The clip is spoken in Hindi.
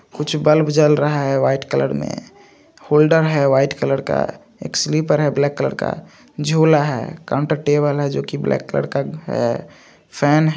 कुछ बल्ब जल रहा है वाइट कलर में होल्डर है वाइट कलर का एक स्लीपर है ब्लैक कलर का झोला है काउंटर टेबल है जो की ब्लैक कलर का है फैन --